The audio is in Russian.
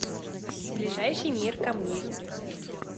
ближайший мир камней